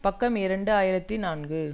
பக்கம் இரண்டு ஆயிரத்தி நான்கு